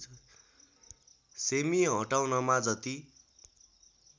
सेमि हटाउनमा जति